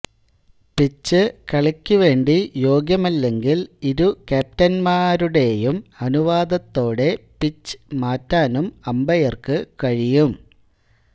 pitch കളിക്കുവേണ്ടി യോഗ്യമല്ലെങ്കിൽ ഇരു ക്യാപ്റ്റന്മാരുടെയും അനുവാദത്തോടെ പിച്ച് മാറ്റാനും അമ്പയർക്ക് കഴിയും